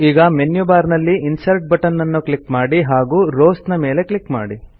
ಈಗ menu bar ನಲ್ಲಿ insert button ಅನ್ನು ಕ್ಲಿಕ್ ಮಾಡಿ ಹಾಗೂ ರೋವ್ಸ್ ಮೇಲೆ ಕ್ಲಿಕ್ ಮಾಡಿ